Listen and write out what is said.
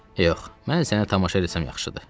Yox, mən səni tamaşa eləsəm, yaxşıdır, dedi.